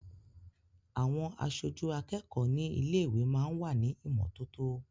Àwọn aṣojú akẹ́kọ̀ọ́ ní ilé-ìwé máa ń wà ní ìmọ́tótó.